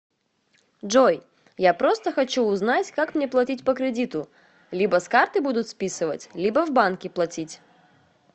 джой я просто хочю узнать как мне плотить по кредиту либо с карты будут списывать либо в банки плотить